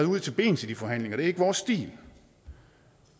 ud til bens i de forhandlinger det er ikke vores stil